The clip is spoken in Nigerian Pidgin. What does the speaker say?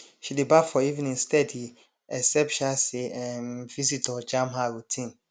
she dey baff for evening steady except um say um visitor jam her routine